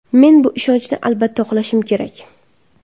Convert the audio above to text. Men bu ishonchni albatta oqlashim kerak!